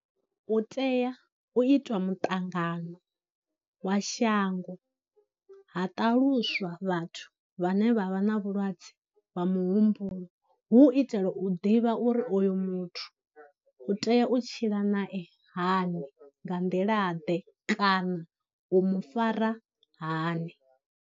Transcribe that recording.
U tea u itwa muṱangano wa shango ha ṱaluswa vhathu vhane vha vha na vhulwadze wa muhumbulo, hu u itela u ḓivha uri oyo muthu u tea u tshila nae hani, nga nḓila ḓe, kana u mu fara hani.